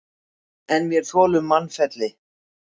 En vér þolum mannfelli.